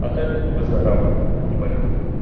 а так выздоравливай не болей